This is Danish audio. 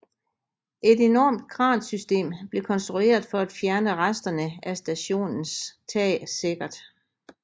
Et enormt kransystem blev konstrueret for at fjerne resterne af stationens tag sikkert